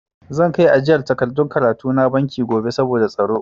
Zan kai ajiyar takardun karatu na banki gobe saboda tsaro.